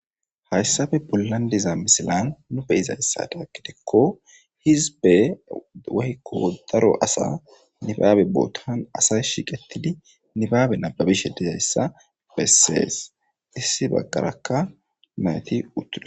Hayisape bollan diza misilan nu bizayisazon gidiko hisibe woyiko daro asa nibabe botani asayi sheqetidi nibabe nababishe dizayisa beses issi bagaraka nayiti utidosona